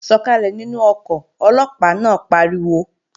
Sọ̀kàlẹ̀ nínú ọkọ̀, Ọlọ́pàá náà pariwo!